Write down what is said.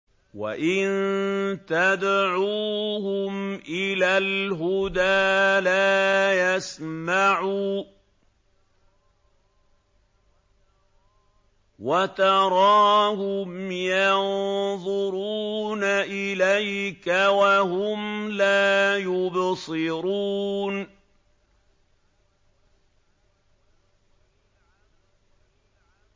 وَإِن تَدْعُوهُمْ إِلَى الْهُدَىٰ لَا يَسْمَعُوا ۖ وَتَرَاهُمْ يَنظُرُونَ إِلَيْكَ وَهُمْ لَا يُبْصِرُونَ